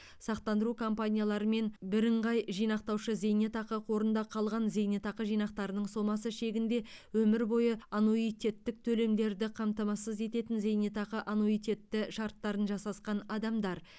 сақтандыру компанияларымен бірыңғай жинақтаушы зейнетақы қорында қалған зейнетақы жинақтарының сомасы шегінде өмір бойы аннуитеттік төлемдерді қамтамасыз ететін зейнетақы аннуитеті шарттарын жасасқан адамдар